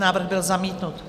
Návrh byl zamítnut.